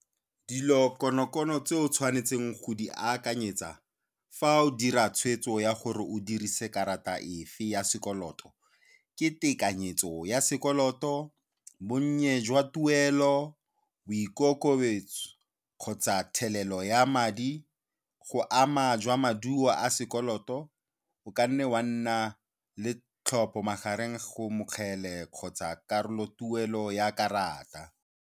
Dilo konokono tse o tshwanetseng go di akanyetsa fa o dira tshweetso ya gore o dirise karata efe ya sekoloto ke tekanyetso ya sekoloto, bonnye jwa tuelo, boikokobetso, kgotsa thelelo ya madi, go ama jwa maduo a sekoloto, o ka nne wa nna le tlhopho magareng go mokgele kgotsa karolotuelo ya karata.